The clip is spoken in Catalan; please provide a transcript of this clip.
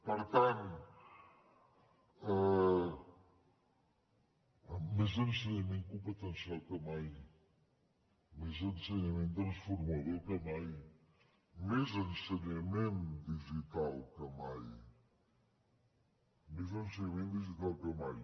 per tant més ensenyament competencial que mai més ensenyament transformador que mai més ensenyament digital que mai més ensenyament digital que mai